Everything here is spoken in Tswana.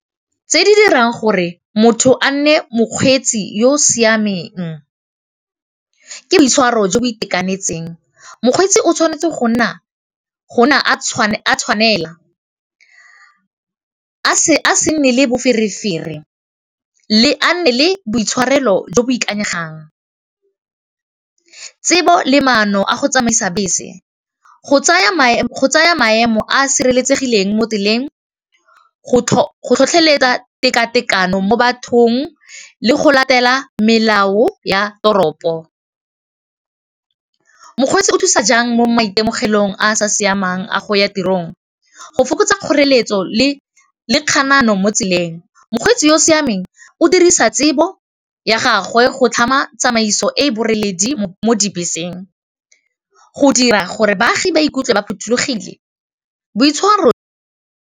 Tse di dirang gore motho a nne mokgweetsi yo o siameng, ke boitshwaro jo bo itekanetseng mokgweetsi o tshwanetse gonna tshwanela a se nne le boferefere le boitshwarelo jo bo ikanyegang tsebo le maano a go tsamaisa bese go tsaya maemo a a sireletsegileng mo tseleng go tlhotlheletsa tekatekano mo bathong le go latela melao ya toropo, mokgweetsi o thusa jang mo maitemogelong a sa siamang a go ya tirong go fokotsa kgoreletso le kganano mo tseleng mokgweetsi yo o siameng o dirisa tsebo ya gagwe go tlhama tsamaiso e e boreledi mo dibeseng go dira gore baagi ba ikutlwe ba phothulogile boitshwaro.